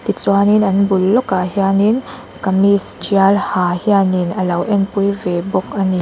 tichuanin an bul lawkah hianin kamis tial ha hianin a lo en pui ve bawk a ni.